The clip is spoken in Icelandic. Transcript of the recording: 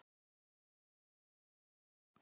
Kennir þar margra grasa.